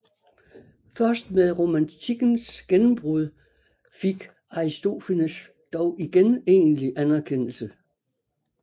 Først med romantikens gennembrud fik Aristofanes dog igen egentlig anerkendelse